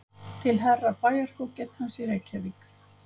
Til Herra Bæjarfógetans í Reykjavík